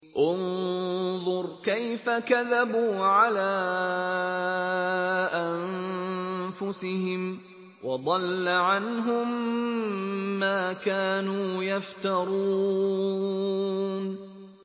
انظُرْ كَيْفَ كَذَبُوا عَلَىٰ أَنفُسِهِمْ ۚ وَضَلَّ عَنْهُم مَّا كَانُوا يَفْتَرُونَ